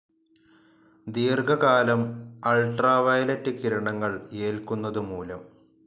ദീർഘ കാലം അൾട്രാവയലറ്റ്‌ കിരണങ്ങൾ ഏൽക്കുന്നതു മൂലം.